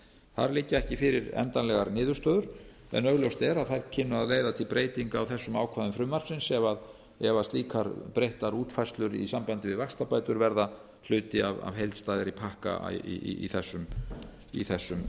þar liggja ekki fyrir endanlegar niðurstöður en augljóst er að þær kynnu að leiða til breytinga á þessum ákvæðum frumvarpsins ef slíkar breyttar útfærslur í sambandi við vaxtabætur verða hluti af heildstæðari pakka í þessum efnum þá